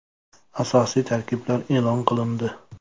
Asosiy tarkiblar e’lon qilindi.